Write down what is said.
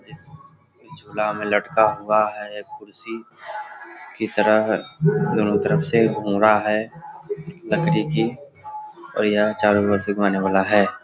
इस झूला में लटका हुआ है एक कुर्सी की तरह दोनों तरफ से घूम रहा है लकड़ी की और यह चारो ओर से घुमाने वाला है।